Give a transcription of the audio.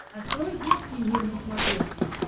открой детский мир на смотрешке